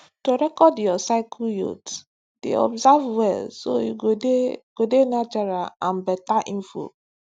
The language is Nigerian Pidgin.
to record your cycle yoats dey observe well so you go dey go dey natural and better info